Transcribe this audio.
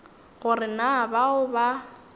go re na bao ba